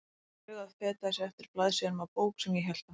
Vinstra augað fetaði sig eftir blaðsíðunum á bók sem ég hélt á.